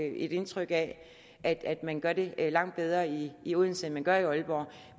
indtryk af at at man gør det langt bedre i i odense end man gør i aalborg